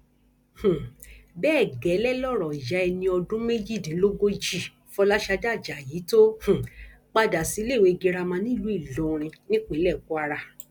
um bẹẹ gẹlẹ lọrọ ìyá ẹni ọdún méjìdínlógójì fọlásadé ajayi tó um padà síléèwé girama nílùú ìlọrin nípínlẹ kwara